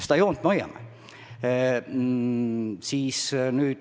Seda joont me hoiame.